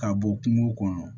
K'a bɔ kungo kɔnɔ